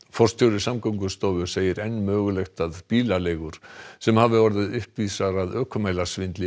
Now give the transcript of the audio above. forstjóri Samgöngustofu segir enn mögulegt að bílaleigur sem hafi orðið uppvísar að